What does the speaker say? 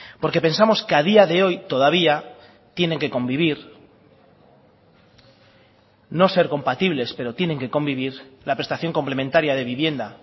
porque pensamos que a día de hoy todavía tienen que convivir no ser compatibles pero tienen que convivir la prestación complementaria de vivienda